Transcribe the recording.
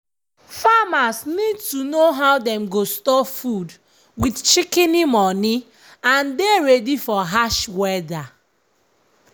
farmers need to know how dem go store food wit shikini moni and dey ready for hash weda.